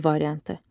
B variantı.